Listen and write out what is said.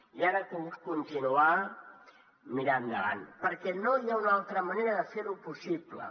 i ara cal continuar mirant endavant perquè no hi ha una altra manera de fer ho possible